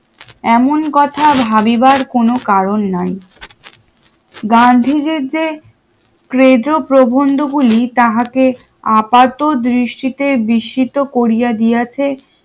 এমন কথা ভাবিবার কোন কারণ নাই গান্ধীজীর যে ক্রেজো প্রবন্ধ গুলি তাহাকে আপাত দৃষ্টিতে বিস্মৃত করিয়া দিয়াছে